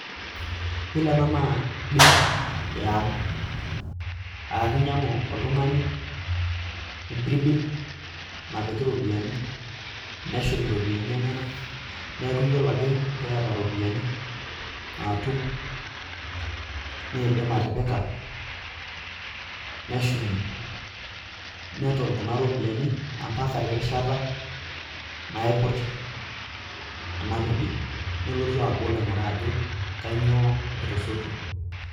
Yiolo ena naa benki eyaang aa keinyiang'u oltung'ani empirbil napiki iropiyiani neshum iropiyiani enyanak neeku yiolo ake peeta iropiyiani naatum neidim atipika neshumie neton kuna ropiyiani ompaka ade erishata naiput ena pirbil nelotu abol ajo kanyioo etasotuo.